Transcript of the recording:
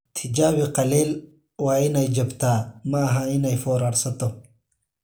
"Tijaabi qallayl: Waa in ay jabtaa, ma aha in ay foorarsato"